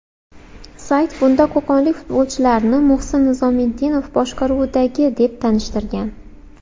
Sayt bunda qo‘qonlik futbolchilarni Muhsin Nizomiddinov boshqaruvidagi, deb tanishtirgan.